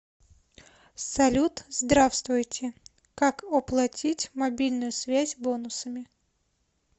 салют здравствуйте как оплотить мобильную связь бонусами